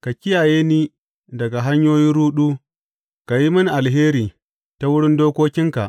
Ka kiyaye ni daga hanyoyin ruɗu; ka yi mini alheri ta wurin dokokinka.